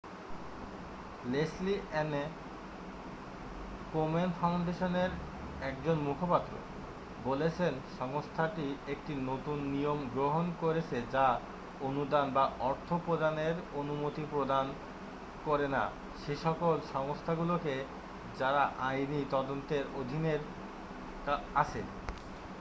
Leslie Ann Komen ফাউন্ডেশনের একজন মুখপাত্র বলেছেন সংস্থাটি একটি নতুন নিয়ম গ্রহন করেছে যা অনুদান বা অর্থ প্রদানের অনুমতি প্রদান করে না সেইসকল সংস্থাগুলোকে যারা আইনী তদন্তের অধীনের আছে